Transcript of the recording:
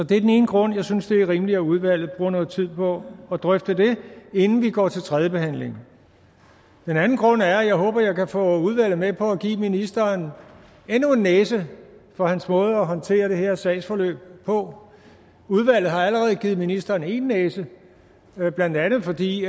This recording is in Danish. det er den ene grund jeg synes det er rimeligt at udvalget bruger noget tid på at drøfte det inden vi går til tredje behandling den anden grund er at jeg håber at jeg kan få udvalget med på at give ministeren endnu en næse for hans måde at håndtere det her sagsforløb på udvalget har allerede givet ministeren én næse blandt andet fordi